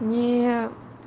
не